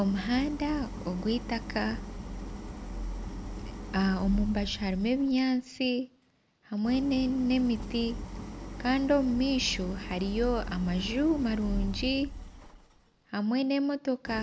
Omuhanda ogw'eitaaka omubaju harimu ebinyaatsi hamwe n'emiti kandi omu maisho hariyo amaju marungi hamwe n'emotoka